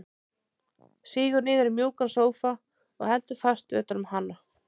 Sígur niður í mjúkan sófa og heldur fast utan um hana.